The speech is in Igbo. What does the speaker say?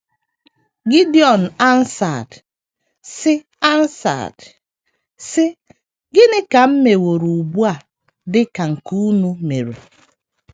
Gideọn answered, sị answered, sị: “ Gịnị ka m meworo ugbu a dị ka nke unu mere?